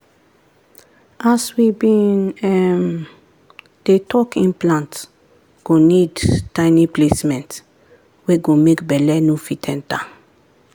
as we been um dey talk implant go need tiny placement wey go make belle no fit enter